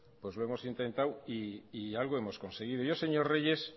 pues lo hemos intentado y algo hemos conseguido señor reyes